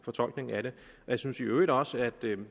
fortolkningen af det jeg synes i øvrigt også at det